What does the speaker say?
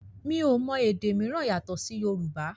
mi o mọ èdè míràn yàtò sì Yorùbá